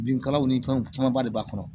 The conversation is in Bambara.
Binkalaw ni fɛnw camanba de b'a kɔnɔ